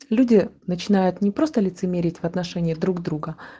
люди начинают не просто лицемерить в отношении друг друга